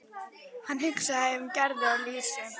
Hann hugsaði um Gerði og Elísu.